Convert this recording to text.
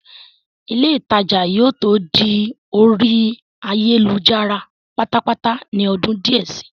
ilé ìtajà yóò tó di orí ayélujára pátápátá ní ọdún díẹ̀ si